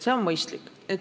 See on mõistlik.